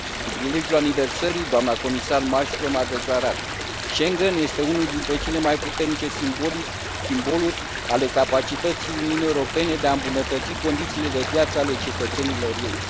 Cu prilejul aniversării, dna comisar Malmström a declarat Schengen este unul din cele mai puternice simboluri ale capacității Uniunii Europene de a îmbunătăți condițiile de viață ale cetățenilor ei.